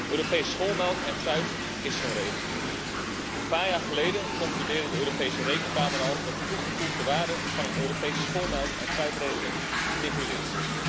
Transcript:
Europese schoolmelk en fruit is zo'n regeling. Een paar jaar geleden concludeerde de Europese Rekenkamer al dat de toegevoegde waarde van een Europese schoolmelk en fruitregeling nihil is.